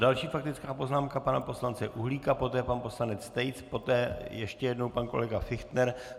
Další faktická poznámka pana poslance Uhlíka, poté pan poslanec Tejc, poté ještě jednou pan kolega Fichtner.